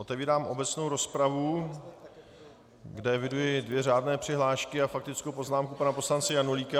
Otevírám obecnou rozpravu, kde eviduji dvě řádné přihlášky a faktickou poznámku pana poslance Janulíka.